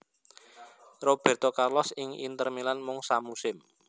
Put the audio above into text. Robérto Carlos ing Inter Milan mung samusim